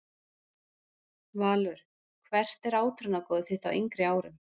Valur Hvert var átrúnaðargoð þitt á yngri árum?